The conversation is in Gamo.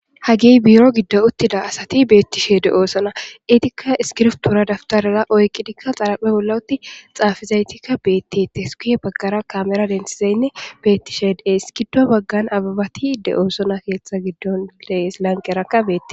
Hagey buro giddo uttida asati beettishe de oosona itikka iskirftura dabtarara oyqidikka xaraphe olawutti xaafizaytikka beette te esukue baggara kamera densizaynne bettishe dee iskiddo baggan ababati de oosona keeththa giddon leeslanqerakka beete.